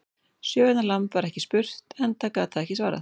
Sjö vikna lamb var ekki spurt, enda gat það ekki svarað.